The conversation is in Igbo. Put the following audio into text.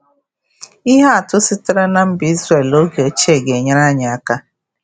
Ihe atụ sitere na mba Izrel oge ochie ga-enyere anyị aka.